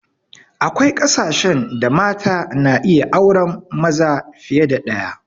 Akwai kasashen da mata na iya auren maza fiye da ɗaya